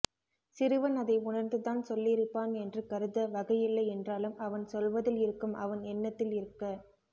சிறுவன் அதை உணர்ந்து தான் சொல்லியிருப்பான் என்று கருத வகையில்லையென்றாலும் அவன் சொல்வதில் இருக்கும் அவன் எண்ணத்தில் இருக்க